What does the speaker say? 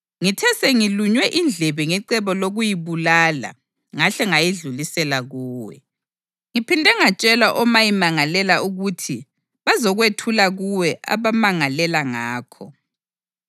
Ngithe sengilunywe indlebe ngecebo lokuyibulala ngahle ngayedlulisela kuwe. Ngiphinde ngatshela omayimangalela ukuthi bazokwethula kuwe abamangalela ngakho.